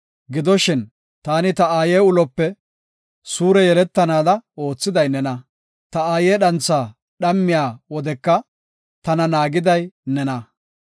Gidoshin taani ta aaye ulope suure yeletanaada oothiday nena. Ta aaye dhantha dhammiya wodeka tana naagiday nena.